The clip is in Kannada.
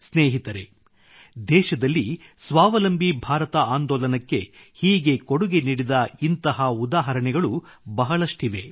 ಸ್ನೇಹಿತರೆ ದೇಶದಲ್ಲಿ ಸ್ವಾವಲಂಬಿ ಭಾರತ ಆಂದೋಲನಕ್ಕೆ ಹೀಗೆ ಕೊಡುಗೆ ನೀಡಿದ ಇಂಥ ಉದಾಹರಣೆಗಳು ಬಹಳಷ್ಟಿವೆ